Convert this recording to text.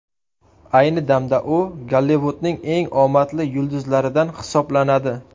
Ayni damda u Gollivudning eng omadli yulduzlaridan hisoblanadi.